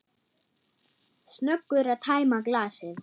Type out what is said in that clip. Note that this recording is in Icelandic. Snöggur að tæma glasið.